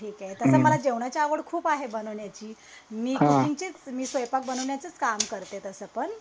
ठीक आहे तस मला जेवणाची आवड खूप आहे बनवण्याची मी कुकिंगची स्वंयपाक बनवण्याचेच काम करते तसं पण